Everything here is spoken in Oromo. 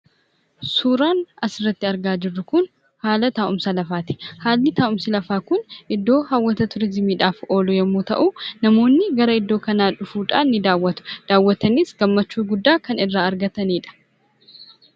Suuraan asirratti argaa jirru kun haala taa'umsa lafaati. Haalli taa'umsa lafaa kun iddoo hawwata turizimiidhaaf oolu yommuu ta'u, namoonni gara iddoo kanaa dhufuudhaan ni daawwatu. Daawwataniis gammachuu guddaa kan irraa argatanidha.